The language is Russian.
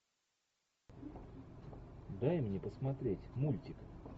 дай мне посмотреть мультик